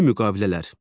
Ümumi müqavilələr.